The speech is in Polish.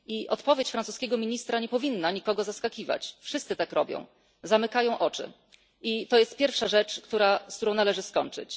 Odpowiedź francuskiego ministra nie powinna nikogo zaskakiwać, bowiem wszyscy tak robią zamykają oczy i jest to pierwsza rzecz, z którą należy skończyć.